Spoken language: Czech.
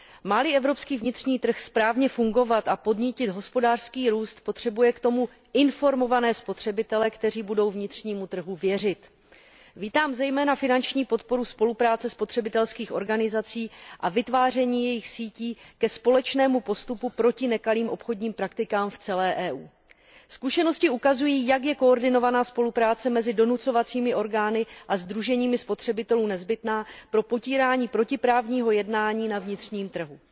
Má li evropský vnitřní trh správně fungovat a podnítit hospodářský růst, potřebuje k tomu informované spotřebitele, kteří budou vnitřnímu trhu věřit. Vítám zejména finanční podporu spolupráce spotřebitelských organizací a vytváření jejich sítí ke společnému postupu proti nekalým obchodním praktikám v celé Evropské unii. Zkušenosti ukazují, jak je koordinovaná spolupráce mezi donucovacími orgány a sdruženími spotřebitelů nezbytná pro potírání protiprávního jednání na vnitřním trhu.